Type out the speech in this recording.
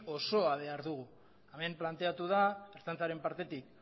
osoa behar dugu hemen planteatu da ertzaintzaren partetik